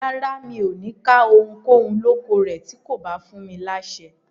Rárá, mi ò ní ká ohunkóhun lóko rẹ̀ tí kò bá fún mi láṣẹ.